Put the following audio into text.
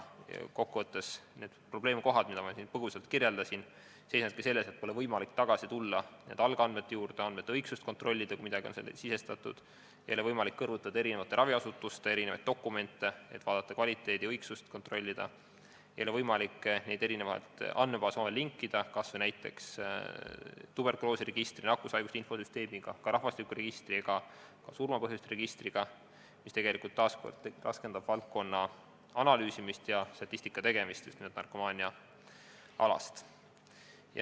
Kokkuvõttes seisnevadki need probleemkohad, mida ma siin põgusalt kirjeldasin, selles, et pole võimalik tagasi tulla algandmete juurde, andmete õigsust kontrollida, kui midagi on sisestatud, ei ole võimalik kõrvutada eri raviasutuste dokumente, et kontrollida kvaliteeti, ei ole võimalik andmebaase omavahel linkida, kas või näiteks linkida tuberkuloosiregistriga, nakkushaiguste infosüsteemiga, ka rahvastikuregistriga ja surma põhjuste registriga, mis taas kord raskendab valdkonna analüüsimist ja statistika tegemist, just nimelt narkomaania alal.